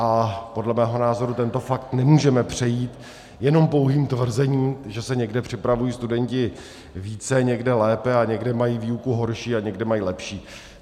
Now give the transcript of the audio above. A podle mého názoru tento fakt nemůžeme přejít jenom pouhým tvrzením, že se někde připravují studenti více, někde lépe a někde mají výuku horší a někde mají lepší.